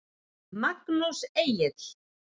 Magnús Egill.